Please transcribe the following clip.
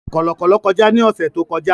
Kọ̀lọ̀kọ̀lọ̀ kọjá ní ọ̀sẹ̀ tó kọjá